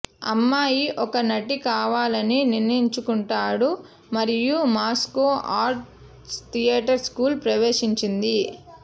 అమ్మాయి ఒక నటి కావాలని నిర్ణయించుకుంటాడు మరియు మాస్కో ఆర్ట్ థియేటర్ స్కూల్ ప్రవేశించింది